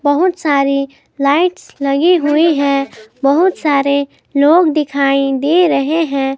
बहुत सारी लाइट्स लगी हुई है बहुत सारे लोग दिखाई दे रहे हैं।